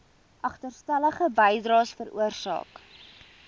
agterstallige bydraes veroorsaak